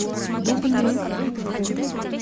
дубны